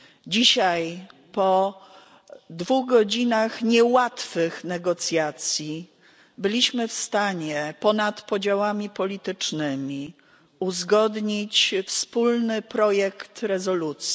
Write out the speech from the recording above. Dzisiaj po dwóch godzinach niełatwych negocjacji byliśmy w stanie ponad podziałami politycznymi uzgodnić wspólny projekt rezolucji.